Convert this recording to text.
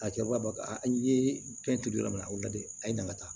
A kɛba n ye fɛn turu yɔrɔ min na a bɛ lajɛ a ye na ka taa